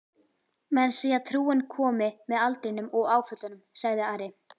Menn segja trúin komi með aldrinum og áföllunum, sagði Ari.